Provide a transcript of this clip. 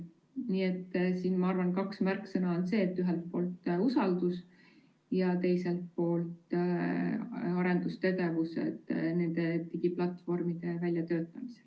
Nii et siin, ma arvan, on kaks märksõna: ühelt poolt usaldus ja teiselt poolt arendustegevused nende digiplatvormide väljatöötamisel.